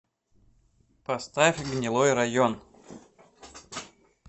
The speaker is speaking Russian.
поставь гнилой район